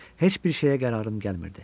Heç bir şeyə qərarım gəlmirdi.